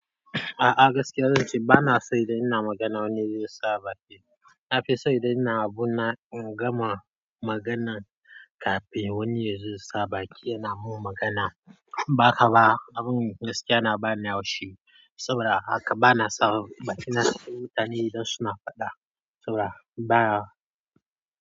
A'a gaskiya zan ce bana son idan ina magana wani ya zo ya sa baki. Na fi son idan ina abu na in gama maganar kafin wani ya zo ya sa baki yana mun magana. Ba haka ba abun gaskiya na bani haushi saboda haka bana son bakina sai mutanen idan su na faɗa saboda baya.